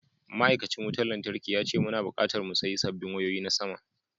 Ma’aikacin wutar lantarkin ya ce muna bukatar mu sayi sabbin wayoyi na sama.